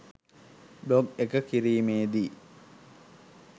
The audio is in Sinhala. බ්ලොග් එක කිරීමේදී